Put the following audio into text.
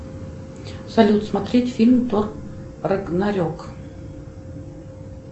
салют смотреть фильм тор рагнарек